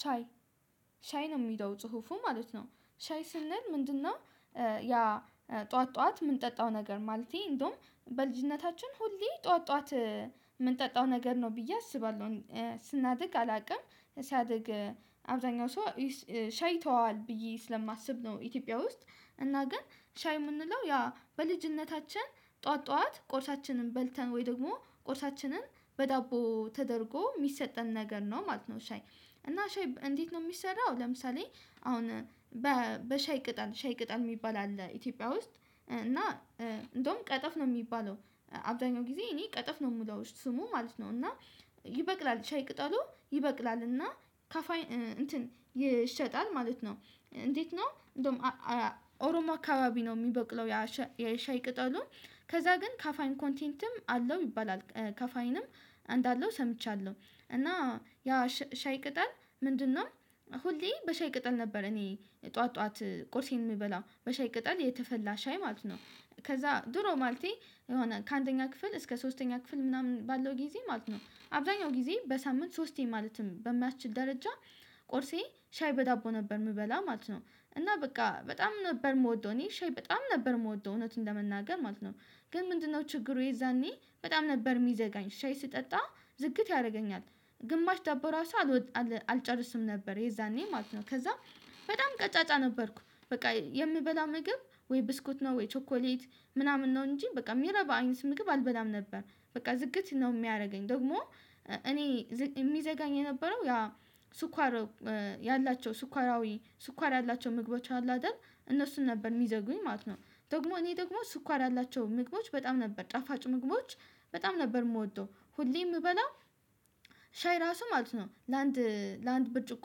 ሻይ ሻይ ነው የምለው ጽሁፉ ማለት ነው። ሻይ ስንል ምንድነው? ያ ጠዋት ጠዋት የምንጠጣው ነገር ማለቴ እንደውም በልጅነታችን ሁሌ ጠዋት ጠዋት የምንጠጣው ነገር ነው ብዬ አስባለሁ። ስናድግ አላውቅም ሳድግ አብዛኛው ሰው ቸይተዋል ብዬ ስለማስብ ነው። ኢትዮጵያ ውስጥ እና ግን ሻይ የምንለው ያ በልጅነታችን ጧዋት ጧዋት ቁርሳችንን በልተን ወይ ደግሞ ቁርሳችንን በዳቦ ተደርጎ ሚሰጠን ነገር ነው ማለት ነው። ሻይ እና ሻይ እንዴት ነው የሚሰራው? ለምሳሌ አሁን በሻይ ቅጠል ሻይ ቅጠል ሚባል አለ ኢትዮጵያ ውስጥ እና እንደውም ቀጠፍ ነው የሚባለው። አብዛኛው ጊዜ እኔ ቀጠፍ ነው የምለው ስሙ ማለት ነው። እና ይበቅላል ሻይ ቅጠሉ ይበቅላል እና ካፋይ እንትን ይሸጣል ማለት ነው። እንዴት ነው እንደውም ኦሮሞ አካባቢ ነው የሚበቅለው የሻይ ቅጠሉ ከዛ ግን ካፋኝ ኮንቴንትም አለው ይባላል ከፋይንም እንዳለው ሰምቻለሁ እና ያ ሻይ ቅጠል ምንድነው? ሁሌ በሻይ ቅጠል ነበር እኔ ጠዋት ጠዋት ቁርሴን የሚበላው በሻይ ቅጠል የተፈላ ሻይ ማለት ነው። ከዛ ድሮ ማለቴ የሆነ ከአንደኛ ክፍል እስከ ሶስተኛ ክፍል ምናምን ባለው ጊዜ ማለት ነው። አብዛኛው ጊዜ በሳምንት ሶስቴ ማለትም በማትችል ደረጃ ቆርሴ ሻይ በዳቦ ነበር የምበላ ማለት ነው። እና በቃ በጣም ነበር የምወደው እኔ ሼህ በጣም ነበር የምወደው እውነትን ለመናገር ማለት ነው። ግን ምንድነው ችግሩ የዛኔ በጣም ነበር የሚዘጋኝ ሻይ ስጠጣ ዝግት ያደርገኛል። ግማሽ ዳቦ ራሱ አልጨርስም ነበር የዛኔ ማለት ነው። ከዛ በጣም ቀጫጫ ነበርኩ በቃ የምበላ ምግብ ወይ ብስኩት ነው ወይ ቾኮሌት ምናምን ነው እንጂ በቃ ሚረባ አይነት ምግብ አልበላም ነበር። በቃ ዝግት ነው የሚያደርገኝ ደግሞ እኔ የሚዘጋኝ የነበረው ያ ስኳር ያላቸው ስኳራዊ ስኳር ያላቸው ምግቦች አሉ አይደል እነሱን ነበር የሚዘጉኝ ማለት ነው። ደግሞ እኔ ደግሞ ስኳር ያላቸው ምግቦች በጣም ነበር ጣፋጭ ምግቦች በጣም ነበር ምወደው ሁሌ የምበላው ሻይ ራሱ ማለት ነው። ለአንድ ለአንድ ብርጭቆ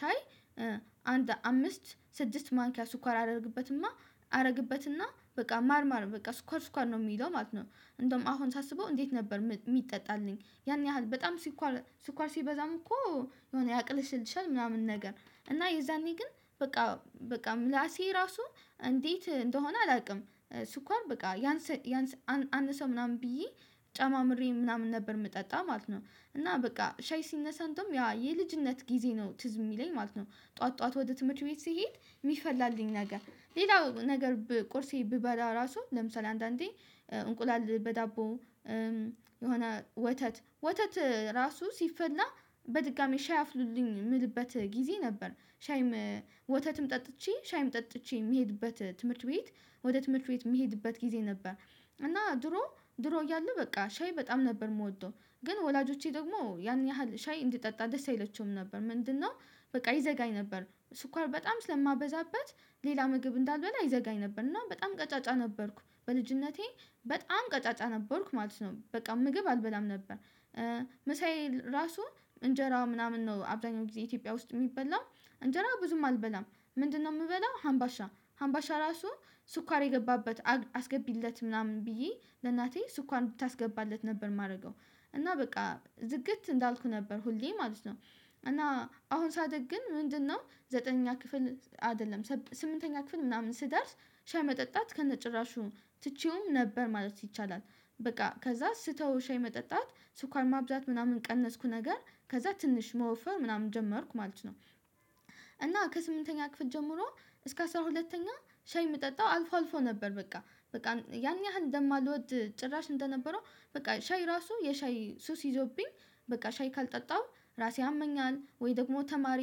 ሻይ አንድ አምስት ስድስት ማንኪያ ስኳር አደረግበትና አረግበትና በቃ ማር ማር በቃ ስኳር ስኳር ነው ሚለው ማለት ነው። እንደውም አሁን ሳስበው እንዴት ነበር ሚጠጣልኝ ያን ያህል በጣም ስኳር ስኳር ሲበዛም እኮ የሆነ ያቅልሽልሻል ምናምን ነገር እና የዛኔ ግን በቃ በቃ ምላሴ ራሱ እንዴት እንደሆነ አላውቅም ስኳር በቃ ያንስ አንሰ ምናምን ብዬ ጨማምሬ ምናምን ነበር ምጠጣው ማለት ነው። እና በቃ ሻይ ስነሳ እንደውም ያ የልጅነት ጊዜ ነው ትዝ የሚለኝ ማለት ነው። ጠዋት ጠዋት ወደ ትምህርት ቤት ስሄድ የሚፈላልኝ ነገር ሌላው ነገር ቁርሴ ብበላ ራሱ ለምሳሌ አንዳንዴ እንቁላል በዳቦ የሆነ ወተት ወተት ራሱ ስፈላ በድጋሚ ሻይ አፍሉልኝ ምልበት ጊዜ ነበር። ሻይም ወተትም ጠጥቼ ሻይም ጠጥቼ የሚሄድበት ትምህርት ቤት ወደ ትምህርት ቤት የሚሄድበት ጊዜ ነበር። እና ድሮ ድሮ እያለው በቃ ሻይ በጣም ነበር የምወደው ግን ወላጆቼ ደግሞ ያን ያህል ሻይ እንዲጠጣ ደስ አይለቸውም ነበር ምንድነው? በቃ ይዘጋኝ ነበር ስኳር በጣም ስለማበዛበት ሌላ ምግብ እንዳልበላ ይዘጋኝ ነበር እና በጣም ቀጫጫ ነበርኩ በልጅነቴ በጣም ቀጫጫ ነበርኩ ማለት ነው። በቃ ምግብ አልበላም ነበር። መሳይ ራሱ እንጀራ ምናምን ነው አብዛኛው ጊዜ ኢትዮጵያ ውስጥ ሚበላ እንጀራው ብዙም አልበላም። ምንድነው የምበላው ሀምባሻ ሀምባሻ ራሱ ስኳር የገባበት አስገቢለት ምናምን ብዬ ለእናቴ ስኳር ብታስገባለት ነበር የማርገው እና በቃ ዝግት እንዳልኩህ ነበር ሁሌ ማለት ነው። እና አሁን ሳደግ ግን ምንድነው? ዘጠነኛ ክፍል አይደለም ስምንተኛ ክፍል ምናምን ስደርስ ሻይ መጠጣት ከነጭራሹ ትቼውም ነበር ማለት ይቻላል። በቃ ከዛ ስተው ሻይ መጠጣት ስኳር ማብዛት ምናምን ቀነስኩ ነገር ከዛ ትንሽ መወፈር ምናምን ጀመርኩ ማለት ነው። እና ከስምንተኛ ክፍል ጀምሮ እስከ አስራ ሁለተኛ ሻይ የምጠጣው አልፎ አልፎ ነበር በቃ በቃ ያን ያህል እንደማልወድ ጭራሽ እንደነበረው በቃ ሻይ ራሱ የሻይ ሱስ ይዞብኝ በቃ ሻይ ካልጠጣሁ ራሴ አመኛል ወይ ደግሞ ተማሪ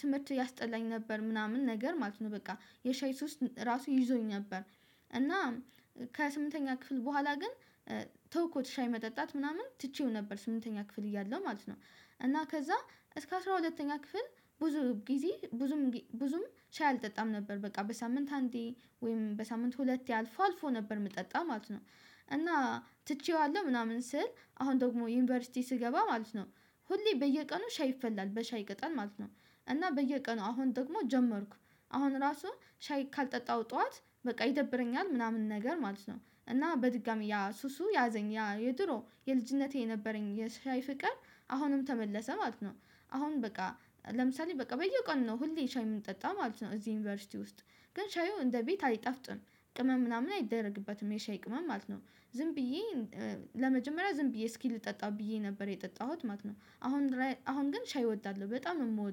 ትምህርት ያስጠላኝ ነበር ምናምን ነገር ማለት ነው። በቃ የሻይ ሶስት ራሱ ይዞኝ ነበር። እና ከስምንተኛ ክፍል በኋላ ግን ተው እኮ ትሻይ መጠጣት ምናምን ትቼው ነበር ስምንተኛ ክፍል እያለው ማለት ነው። እና ከዛ እስከ አስራ ሁለተኛ ክፍል ብዙ ጊዜ ብዙም ብዙም ቻይ አልጠጣም ነበር በቃ በሳምንት አንዴ ወይም በሳምንት ሁለት ያሉት ልፎ ነበር የምጠጣ ማለት ነው። እና ትቼዋለሁ ምናምን ስል አሁን ደግሞ ዩኒቨርሲቲ ስገባ ማለት ነው ሁሌ በየቀኑ ሻይ ይፈላል በሻይ ይቀጣል ማለት ነው። እና በየቀኑ አሁን ደግሞ ጀመርኩ አሁን ራሱ ሻይ ካልጠጣሁ ጠዋት በቃ ይደብረኛል ምናምን ነገር ማለት ነው። እና በድጋሚ ያ ሱሱ ያዘኝ ያ የድሮ የልጅነቴ የነበረኝ የሽሻይ ፍቅር አሁንም ተመለሰ ማለት ነው። አሁን በቃ ለምሳሌ በቃ በየቀኑ ነው ሁሌ ሻይ የምንጠጣ ማለት ነው። እዚህ ዩኒቨርሲቲ ውስጥ ግን ሻዩ እንደ ቤት አይጠፍጥም። ቅመም ምናምን አይደረግበትም የሻይ ቅመም ማለት ነው። ዝም ብዬ ለመጀመሪያ ዝም ብዬ እስኪ ልጠጣው ብዬ ነበር የጠጣሁት ማለት ነው። አሁን አሁን ግን ሻይ እወዳለሁ በጣም ነው የምወደው